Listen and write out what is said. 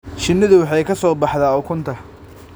Shinnidu waxay ka soo baxdaa ukunta.